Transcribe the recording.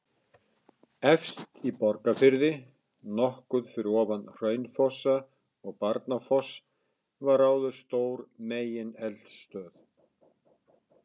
Efst í Borgarfirði, nokkuð fyrir ofan Hraunfossa og Barnafoss var áður stór megineldstöð.